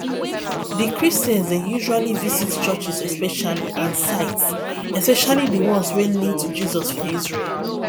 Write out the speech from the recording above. di christians dey usually visit churches especially and sites especially di ones wey link to jesus for isreal